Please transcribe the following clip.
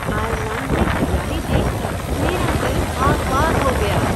Ireland में हरियाली देख कर मेरा दिल बाग़ बाग़ हो गया।